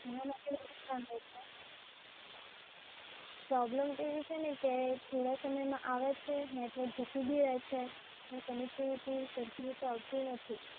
એનાં માટે મારે જાણવું છે. પ્રોબ્લેમ તો એવી છે ને કે થોડા સમયમાં આવે છે, નેટવર્ક જતું બી રહે છે, ને connectivity સરખી રીતે આવતી નથી.